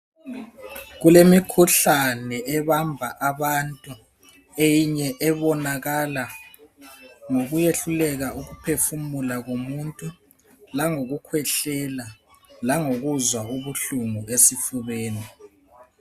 Kulemikhuhlane ebamba abantu eyinye ebonakala ngokuyehluleka ukuphefumula komuntu langokukhwehlela langokuzwa ubuhlungu esifubeni.